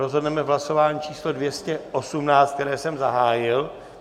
Rozhodneme v hlasování číslo 218, které jsem zahájil.